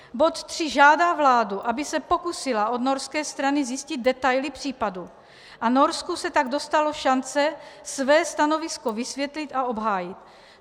Bod 3 žádá vládu, aby se pokusila od norské strany zjistit detaily případu a Norsku se tak dostalo šance své stanovisko vysvětlit a obhájit.